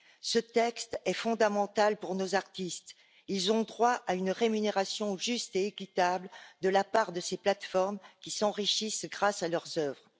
Ce texte est fondamental pour nos artistes, ils ont droit à une rémunération juste et équitable de la part de ces plateformes qui s'enrichissent grâce à leurs œuvres.